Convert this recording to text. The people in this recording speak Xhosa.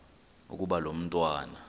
ukuba lo mntwana